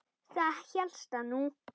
Það hélstu nú!